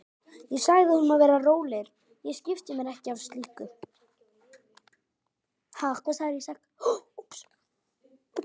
Ég sagði honum að vera rólegur, ég skipti mér ekki af slíku.